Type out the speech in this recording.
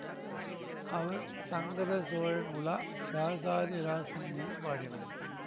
அவர் சங்கர சோழன் உலா இராசாதி ராசன் மீது பாடினார்